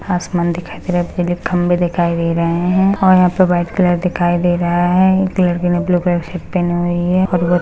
आसमान दिखाई दे रहा है पीले खम्भे दिखाई दे रहे हैं और यहाँ पे वाइट कलर दिखाई दे रहा है एक लड़की ने ब्लू कलर की शर्ट पहनी हुई हैं।